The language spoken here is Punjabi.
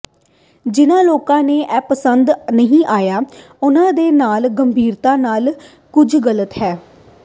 ਜਿਨ੍ਹਾਂ ਲੋਕਾਂ ਨੂੰ ਇਹ ਪਸੰਦ ਨਹੀਂ ਆਇਆ ਉਹਨਾਂ ਦੇ ਨਾਲ ਗੰਭੀਰਤਾ ਨਾਲ ਕੁਝ ਗਲਤ ਹੈ